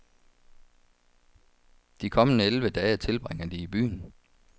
De kommende elleve dage tilbringer de i byen.